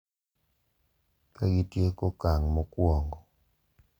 Kagitieko okang` mokuongo,